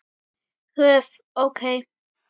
höf. ók.